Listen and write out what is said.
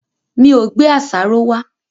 Mi ò gbé àṣàrò wá.